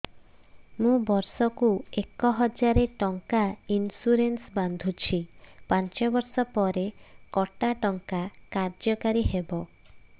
ମୁ ବର୍ଷ କୁ ଏକ ହଜାରେ ଟଙ୍କା ଇନ୍ସୁରେନ୍ସ ବାନ୍ଧୁଛି ପାଞ୍ଚ ବର୍ଷ ପରେ କଟା ଟଙ୍କା କାର୍ଯ୍ୟ କାରି ହେବ